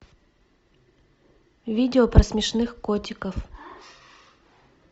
видео про смешных котиков